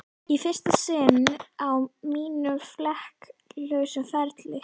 Í fyrsta sinn á mínum flekk lausa ferli.